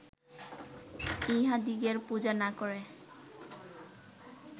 ইঁহাদিগের পূজা না করে